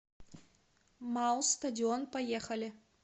мау стадион поехали